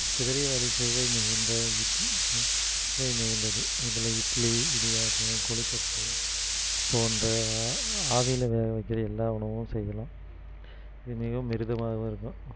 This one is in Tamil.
குதிரைவாலி சுவை மிகுந்த இக்~சுவை மிகுந்தது இதுல இட்லி இடியாப்பம் கொழுக்கட்டை போன்ற ஆ~ஆவியில வேகவைக்குற எல்லா உணவும் செய்யலாம் இது மிகவும் மிருதுவாகவும் இருக்கும்